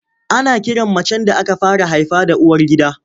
Ana kiran macen da aka fara haifa da uwargida.